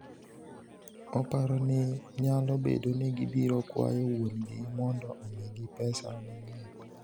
"""Oparo ni nyalo bedo ni gibiro kwayo wuon-gi mondo omigi pesa mang'eny."